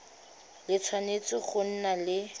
le tshwanetse go nna le